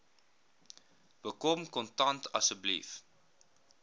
bekom kontak asseblief